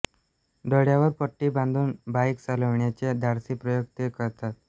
डोळ्यावर पट्टी बांधून बाइक चालविण्याचे धाडसी प्रयोग ते करतात